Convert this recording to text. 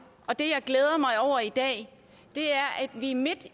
og det jeg glæder mig over i dag er at vi midt